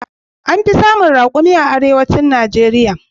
An fi samun raƙumai a arewacin Najeriya.